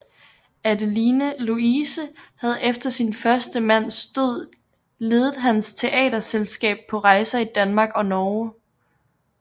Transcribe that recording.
Adeline Louise havde efter sin første mands død ledet hans teaterselskab på rejser i Danmark og Norge